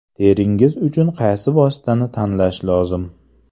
Teringiz uchun qaysi vositani tanlash lozim?